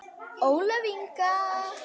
Ólöf Inga.